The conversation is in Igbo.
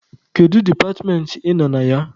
Kedu departmentị ị nọ na ya?